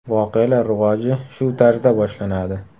Voqealar rivoji shu tarzda boshlanadi.